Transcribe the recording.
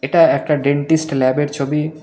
এটা একটা ডেন্টিস্ট ল্যাবের ছবি।